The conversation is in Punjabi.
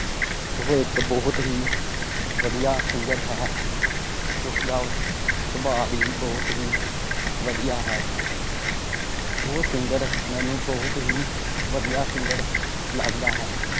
ਉਹ ਇਕ ਬਹੁਤ ਹੀ ਵਧੀਆ singer ਹੈ। ਉਸਦਾ ਸੁਬਾਹ ਭੀ ਬਹੁਤ ਵਧੀਆ ਹੈ। ਉਹ singer ਮੈਨੂੰ ਬਹੁਤ ਹੀ ਵਧੀਆ singer ਲੱਗਦਾ ਹੈ।